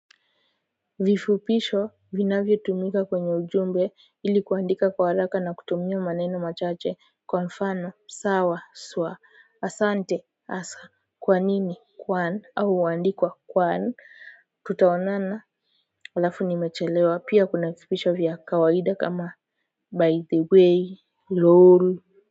Vifupisho vinavyo tumika kwenye ujumbe ili kuandika kwa haraka na kutumia maneno machache kwa mfano sawa swa asante asa kwa nini kwan au huandikwa kwan tutaonana halafu nimechelewa pia kuna vifupisho vya kawaida kama by the way lol